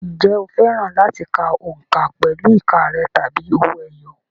Ǹjẹ́ o fẹ́ràn láti ka òǹkà pẹ̀lú ìka rẹ̀ tàbí owó ẹyọ?